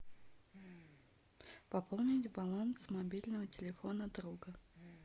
пополнить баланс мобильного телефона друга